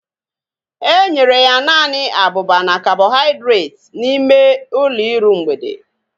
Enyere ya naanị abụba na kabọhaidreeti n'ime ụlọ iru mgbede